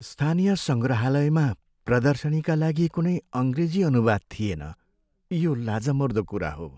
स्थानीय सङ्ग्रहालयमा प्रदर्शनीका लागि कुनै अङ्ग्रेजी अनुवाद थिएन, यो लाजमर्दो कुरा हो।